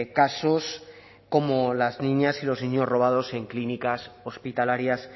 casos como las niñas y los niños robados en clínicas hospitalarias